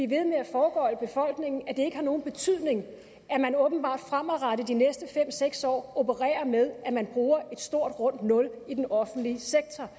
ved med at foregøgle befolkningen at det ikke har nogen betydning at man åbenbart fremadrettet de næste fem seks år opererer med at man bruger et stort rundt nul i den offentlig sektor